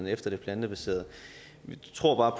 efter det plantebaserede vi tror